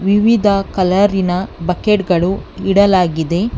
ವಿವಿಧ ಕಲರಿನ ಬಕೆಟ್ ಗಳು ಇಡಲಾಗಿದೆ.